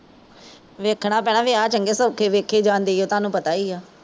ਵੇਖਣਾ ਪੈਣਾ ਵਿਆਹ ਚੰਗੇ ਸੋਖੇ ਵੇਖੈ ਜਾਂਦੇ ਈ ਓ ਤਾਨੂੰ ਪਤਾ ਈ ਆ